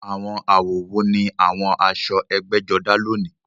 Àwọn àwọ̀ wo ni àwọn aṣọ ẹgbẹ́jọdá lónìí?